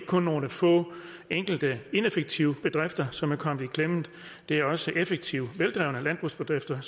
kun nogle få ineffektive bedrifter som er kommet i klemme det er også effektive veldrevne landbrugsbedrifter